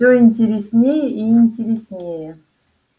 все интереснее и интереснее